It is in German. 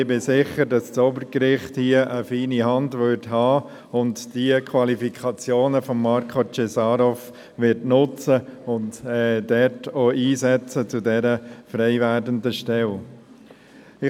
Ich bin aber sicher, dass das Obergericht hier eine feine Hand hätte, dass es die Qualifikationen von Marko Cesarov nutzen und ihn dort für diese frei werdende Stelle einsetzen würde.